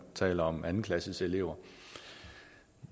taler om anden klasses elever